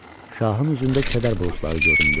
Şahın üzündə kədər buludları göründü.